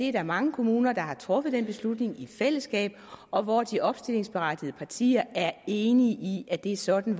er mange kommuner der har truffet den beslutning i fællesskab og hvor de opstillingsberettigede partier er enige i at det er sådan